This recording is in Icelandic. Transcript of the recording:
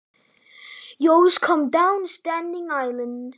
Þú kemur alltaf niður standandi, Eyja.